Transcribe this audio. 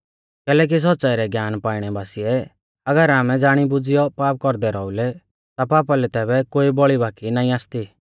कैलैकि सौच़्च़ाई रै ज्ञान पाइणै बासिऐ अगर आमै ज़ाणी बुज़ीयौ पाप कौरदै रौईलै ता पापा लै तैबै कोई बौल़ी बाकी नाईं आसती